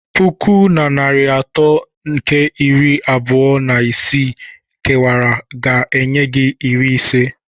Puku na narị atọ nke iri abụọ na isii kewara ga-enye gị iri ise.